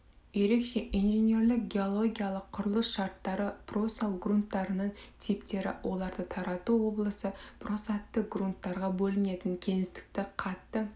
ерекше инженерлік геологиялық құрылыс шарттары просал грунттарының типтері оларды тарату облысы просадты грунттарға бөлінетін кеңістікті қатты